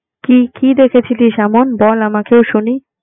কি কি দেখেছেলিস এমন বল আমাকেও শুনি?